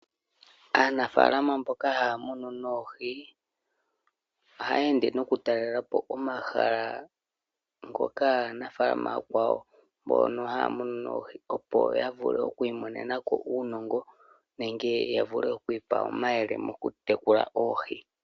Aanafaalama mboka haya munu noohi ohaya ende nokutalela po omahala gaanafaalama ooyakwawo mboka haya munu noohi, opo ya vule oku imonena ko uunongo nenge ya vule oku ipa omayele mokutekula oohi.